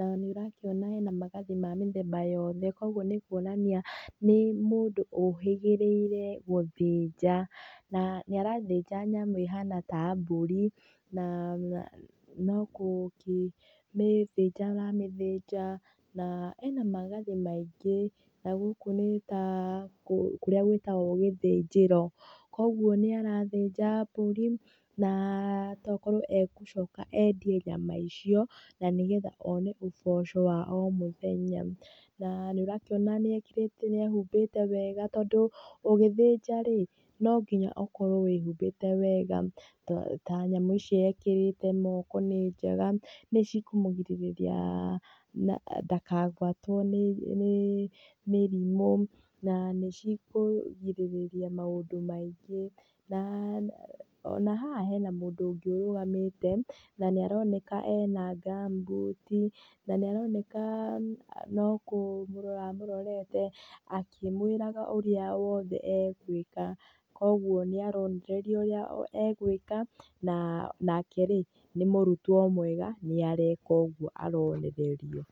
na nĩ ũrakiona ena magathĩ ma mĩthemba yothe. Koguo nĩ kuonania nĩ mũndũ ũhĩgĩrĩire gũthinja. Na nĩ arathĩnja nyamũ ĩhana ta mbũrĩ. No gũkĩmĩthĩnja aramĩthĩnja, na ena magathĩ maingĩ. Gũkũ nĩ ta kũrĩa gwĩtagwo gĩthĩnjĩro, koguo nĩ arathĩnja mbũri, na toakorwo egũcoka endie nyama icio na nĩgetha one ũboco wa o mũthenya. Na nĩ ũrakĩona nĩ ehumbĩte wega, tondũ ũgĩthĩnja-rĩ, no ngĩnya ũkorwo wĩhumbĩte wega ta nyamũ ici ekĩrĩte moko nĩ njega. Nĩ cikũmũgĩrĩrĩria na ndakagwatwo nĩ mĩrimũ na nĩ cikũrigĩrĩria maũndũ maingĩ, na haha hena mũndũ ũrũgamĩte na nĩ aroneka ena ngamumbuti, na nĩ aroneka no kũmũrora amũrorete, akĩmwĩraga ũrĩa wothe egwĩka. Koguo nĩ aronererio ũrĩa egũĩka, nake nĩ mũrutwo mwega nĩ areka ũguo aronererio.